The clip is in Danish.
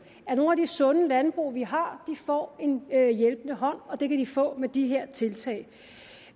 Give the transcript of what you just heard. at nogle af de sunde landbrug vi har får en hjælpende hånd og det kan de få med de her tiltag